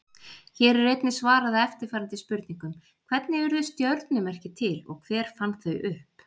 Hér er einnig svarað eftirfarandi spurningum: Hvernig urðu stjörnumerki til og hver fann þau upp?